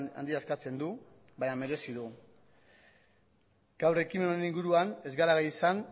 handia eskatzen du baina merezi du gaur ekimen honen inguruan ez gara izan